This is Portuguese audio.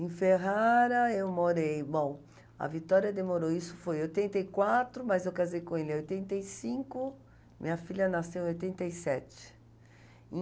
Em Ferrara eu morei, bom, a Vitória demorou, isso foi em oitenta e quatro, mas eu casei com ele em oitenta e cinco, minha filha nasceu em oitenta e sete.